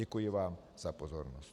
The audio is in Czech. Děkuji vám za pozornost.